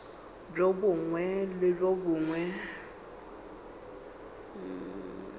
bjo bongwe le bjo bongwe